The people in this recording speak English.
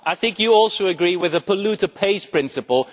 I think you also agree with the polluter pays' principle.